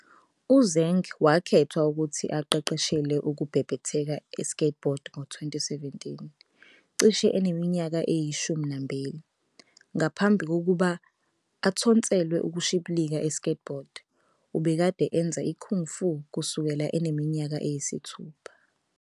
UZeng wakhethwa ukuthi aqeqeshele ukubhebhetheka e-skateboard ngo-2017, cishe eneminyaka eyishumi nambili. Ngaphambi kokuba athontselwe ukushibilika e-skateboard, ubekade enza i-kung fu kusukela eneminyaka eyisithupha.